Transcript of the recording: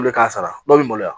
Olu bɛ k'a sara dɔw bɛ maloya